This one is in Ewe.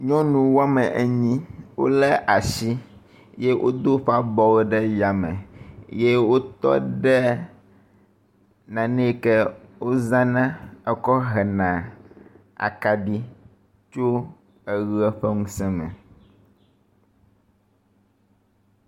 nyɔnu woame enyi wóle asi yɛ wodó wóƒe abɔwo ɖe yáme ye wótɔɖe naneyike wozãna ekɔ hena akaɖi tso eɣe ƒe ŋusē me